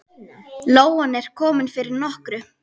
Lóan er komin fyrir nokkru.